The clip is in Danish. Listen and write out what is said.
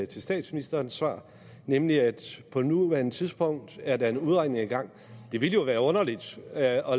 til statsministerens svar nemlig at på nuværende tidspunkt er der en udredning i gang det ville være underligt at